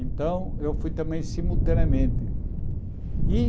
Então, eu fui também simultaneamente. E